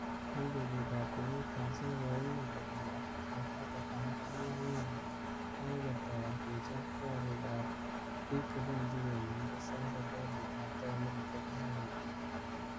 Eng betut ab komut-kasi , kokoimuch kolumnda koita gavana Anyang' Nyong'o nebo ketoi kechob korik ab biik chebendi komu'ngtos eng serkalit ab taunit nebo kisumu.